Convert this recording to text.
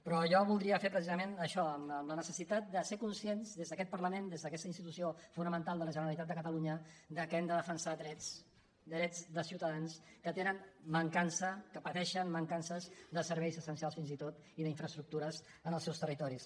però jo voldria fer precisament això amb la necessitat de ser conscients des d’aquest parlament des d’aquesta institució fonamental de la generalitat de catalunya que hem de defensar drets drets de ciutadans que tenen mancança que pateixen mancances de serveis essencials fins i tot i d’infraestructures en els seus territoris